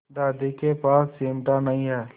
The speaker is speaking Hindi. दादी के पास चिमटा नहीं है